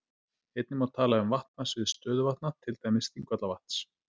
Einnig má tala um vatnasvið stöðuvatna, til dæmis Þingvallavatns.